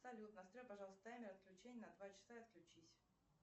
салют настрой пожалуйста таймер отключения на два часа и отключись